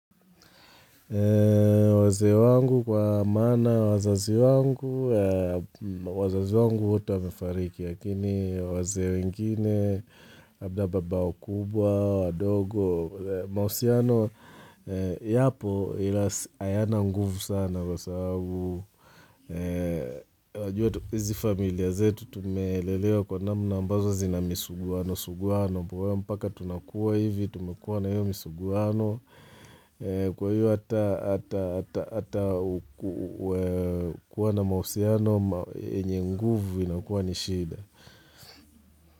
Wazee wangu kwa maana, wazazi wangu, wazazi wangu wote wamefariki, lakini wengine, labda baba wakubwa, wadogo, mahusiano, yapo ila hayana nguvu sana kwa sababu. Unajua hizi familia zetu tumelelewa kwa namna ambazo zina misuguanosuguano, mpaka tunakuwa hivi, tumekuwa na hiyo misuguano Kwa hiyo hata kuwa na mahusiano yenye nguvu inakuwa ni shida.